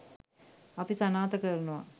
අපි සනාථ කරනවා.